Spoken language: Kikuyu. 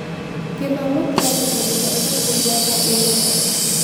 Gĩthomo kĩratũbundithia ũrĩa tũngĩaka ũrũmwe.